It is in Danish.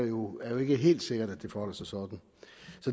jo ikke helt sikkert at det forholder sig sådan